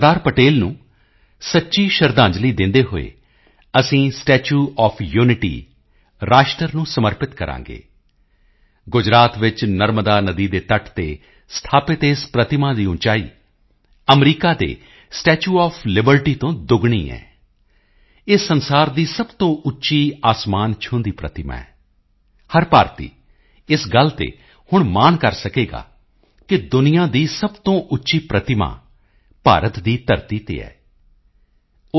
ਪਟੇਲ ਨੂੰ ਸੱਚੀ ਸ਼ਰਧਾਂਜਲੀ ਦਿੰਦੇ ਹੋਏ ਅਸੀਂ ਸਟੈਚੂ ਓਐਫ ਯੂਨਿਟੀ ਰਾਸ਼ਟਰ ਨੂੰ ਸਮਰਪਿਤ ਕਰਾਂਗੇ ਗੁਜਰਾਤ ਵਿੱਚ ਨਰਮਦਾ ਨਦੀ ਦੇ ਤੱਟ ਤੇ ਸਥਾਪਿਤ ਇਸ ਪ੍ਰਤਿਮਾ ਦੀ ਉਚਾਈ ਅਮਰੀਕਾ ਦੇ ਸਟੈਚੂ ਓਐਫ ਲਿਬਰਟੀ ਤੋਂ ਦੋਗੁਣੀ ਹੈ ਇਹ ਸੰਸਾਰ ਦੀ ਸਭ ਤੋਂ ਉੱਚੀ ਅਸਮਾਨ ਛੂਹੰਦੀ ਪ੍ਰਤਿਮਾ ਹੈ ਹਰ ਭਾਰਤੀ ਇਸ ਗੱਲ ਤੇ ਹੁਣ ਮਾਣ ਕਰ ਸਕੇਗਾ ਕਿ ਦੁਨੀਆ ਦੀ ਸਭ ਤੋਂ ਉੱਚੀ ਪ੍ਰਤਿਮਾ ਭਾਰਤ ਦੀ ਧਰਤੀ ਤੇ ਹੈ ਉਹ ਸ